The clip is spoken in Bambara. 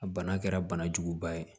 A bana kɛra bana juguba ye